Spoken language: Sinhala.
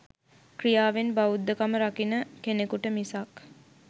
ක්‍රියාවෙන් බෞද්ධ කම රකින කෙනෙකුට මිසක්